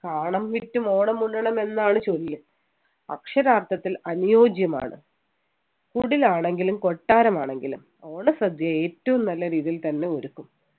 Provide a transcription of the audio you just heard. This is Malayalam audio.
കാണം വിറ്റും ഓണം ഉണ്ണണം എന്നാണ് ചൊല്ല് അക്ഷരാർത്ഥത്തിൽ അനുയോജ്യമാണ കുടിലാണെങ്കിലും കൊട്ടാരം ആണെങ്കിലും ഓണസദ്യയിൽ ഏറ്റവും നല്ല രീതിയിൽ തന്നെ ഒരുക്കും